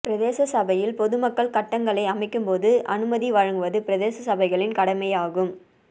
பிரதேச சபையில் பொதுமக்கள் கட்டங்களை அமைக்கும் போது அனுமதி வழங்குவது பிரதேச சபைகளின் கடமை ஆகும்